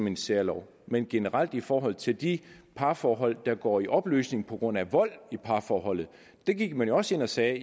en særlov men generelt i forhold til de parforhold der går i opløsning på grund af vold i parforholdet der gik man jo også ind og sagde